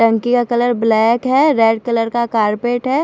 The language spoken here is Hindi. टंकी का कलर ब्लैक है रेड कलर का कारपेट है।